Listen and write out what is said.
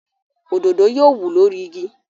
Òdòdó yóò wù lórí igi.